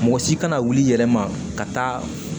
Mɔgɔ si kana wuli i yɛrɛ ma ka taa